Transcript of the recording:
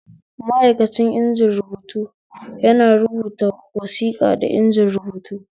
Ma'aikacin injin rubuta yana rubata wasiƙa da inji rubutu